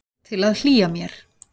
Til að hlýja mér.